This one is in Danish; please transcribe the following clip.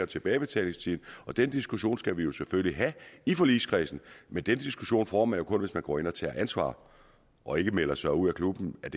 tilbagebetalingstiden og den diskussion skal vi selvfølgelig have i forligskredsen men den diskussion får man jo kun hvis man går ind og tager ansvar og ikke melder sig ud af klubben af